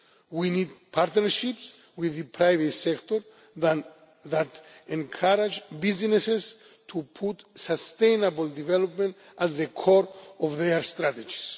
We need partnerships with the private sector that encourage businesses to put sustainable development at the core of their strategies.